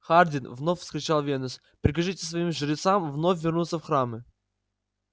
хардин вновь вскричал венус прикажите своим жрецам вновь вернуться в храмы